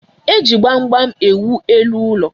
Eji gbam gbam ewu elu ụlọ.